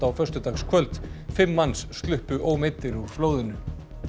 á föstudagskvöld fimm manns sluppu ómeiddir úr flóðinu